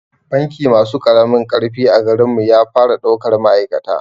Banki masu ƙaramin ƙarfi a garin mu ya fara daukar ma'aikata